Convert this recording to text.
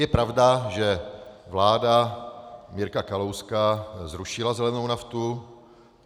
Je pravda, že vláda Mirka Kalouška zrušila zelenou naftu.